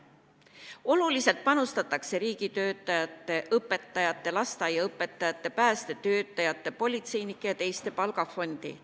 Oluliselt panustatakse riigitöötajate, õpetajate, lasteaiaõpetajate, päästetöötajate, politseinike ja teiste palgafondi.